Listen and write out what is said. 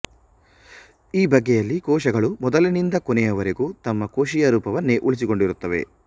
ಈ ಬಗೆಯಲ್ಲಿ ಕೋಶಗಳು ಮೊದಲಿನಿಂದ ಕೊನೆಯವರೆಗೂ ತಮ್ಮ ಕೋಶೀಯ ರೂಪವನ್ನೇ ಉಳಿಸಿಕೊಂಡಿರುತ್ತವೆ